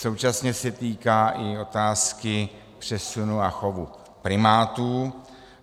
Současně se týká i otázky přesunu a chovu primátů.